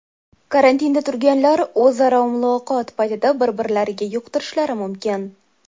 Karantinda turganlar o‘zaro muloqot paytida bir-birlariga yuqtirishlari mumkin.